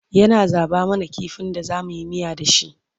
yana zaɓa mana kifin da zamuyi miya da shi